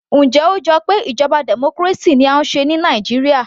Njẹ́ ó jọ pé ìjọba democracy ni à ń ṣe ní Nàìjíríà